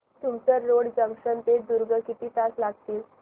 Tumsar road junction ते दुर्ग किती तास लागतील